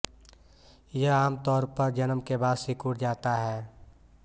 यह आमतौर पर जन्म के बाद सिकुड़ जाता है